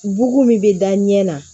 Bugu min bɛ da ɲɛ na